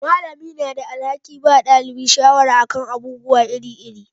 Malamai na da alhakin bada dalibai shawara a kan abubuwa iri iri